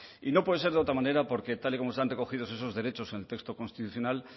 y no puede ser otra manera porque tal y como están recogidos esos derechos en el texto constitucional